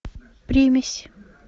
примесь